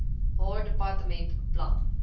haar departement beplan